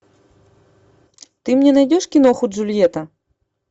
ты мне найдешь киноху джульетта